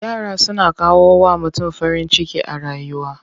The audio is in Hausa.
Yara suna kawo wa mutum farin ciki a rayuwa.